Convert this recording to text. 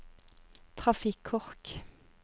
trafikkork